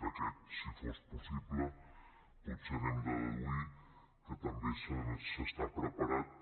d’aquest si fos possible potser n’hem de deduir que també s’està preparat